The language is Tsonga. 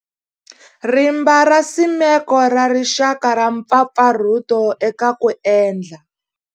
Rimba ra Nsimeko ra Rixaka ra mpfapfarhuto eka ku endla.